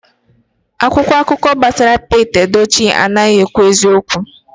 Akwụkwọ akụkọ a gbasara Pete Edochie anaghị ekwu eziokwu